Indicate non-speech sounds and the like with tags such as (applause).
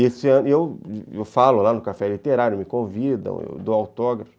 (unintelligible) Eu falo lá no Café Literário, me convidam, eu dou autógrafo.